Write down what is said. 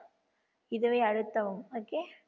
இதை அழுத்தவும் okay